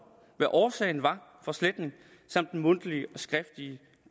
hvad årsagen var for sletning samt den mundtlige og skriftlige